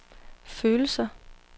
følelser